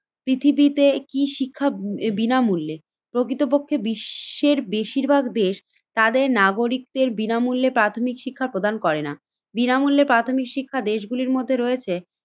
পৃথিবীতে কি শিক্ষা বিনামূল্যে? প্রকৃতপক্ষে বিশ্বের বেশিরভাগ দেশ তাদের নাগরিকদের বিনামূল্যে প্রাথমিক শিক্ষা প্রদান করেনা। বিনামূল্যে প্রাথমিক শিক্ষা দেশগুলির মধ্যে রয়েছে